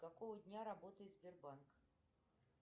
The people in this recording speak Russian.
какого дня работает сбербанк